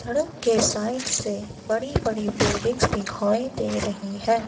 सड़क के साइड से बड़ी बड़ी बिल्डिंग्स दिखाई दे रही है।